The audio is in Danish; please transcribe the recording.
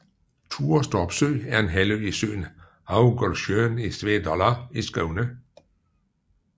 Turestorpsø er en halvø i søen Havgårdssjön i Svedala i Skåne